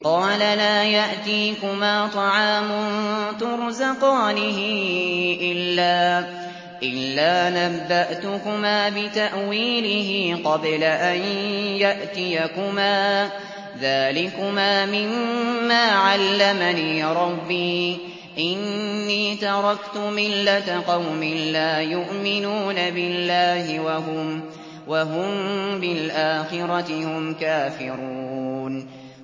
قَالَ لَا يَأْتِيكُمَا طَعَامٌ تُرْزَقَانِهِ إِلَّا نَبَّأْتُكُمَا بِتَأْوِيلِهِ قَبْلَ أَن يَأْتِيَكُمَا ۚ ذَٰلِكُمَا مِمَّا عَلَّمَنِي رَبِّي ۚ إِنِّي تَرَكْتُ مِلَّةَ قَوْمٍ لَّا يُؤْمِنُونَ بِاللَّهِ وَهُم بِالْآخِرَةِ هُمْ كَافِرُونَ